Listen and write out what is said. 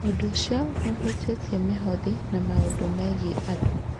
Ũndũ ũcio no ũhutĩtie mĩhothi na maũndũ megiĩ andũ.